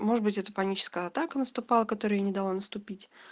может быть это паническая атака наступала которой я не дала наступить